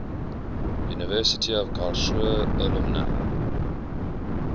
university of karlsruhe alumni